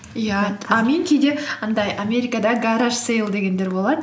иә а мен кейде андай америкада гараж сэйл дегендер болады